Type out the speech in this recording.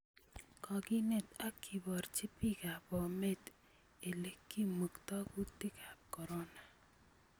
Kokineet ak kiborchi biikab Bomet ele kimukto kutikab kcorona